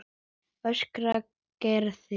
öskraði Garðar.